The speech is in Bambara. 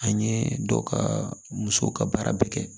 An ye dɔ ka musow ka baara bɛɛ kɛ